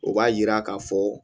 O b'a yira k'a fɔ